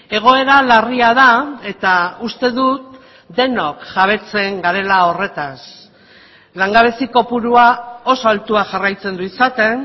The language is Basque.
egoera larria da eta uste dut denok jabetzen garela horretaz langabezi kopurua oso altua jarraitzen du izaten